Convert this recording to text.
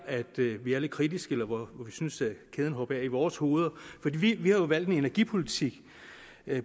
vi er lidt kritiske eller hvor vi synes at kæden hopper af i vores hoveder for vi har jo valgt en energipolitik